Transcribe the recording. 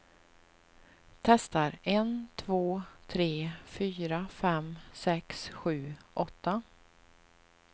Testar en två tre fyra fem sex sju åtta.